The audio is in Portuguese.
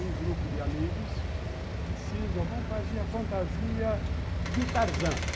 Um grupo de amigos que se diz, vamos fazer a fantasia de Tarzan.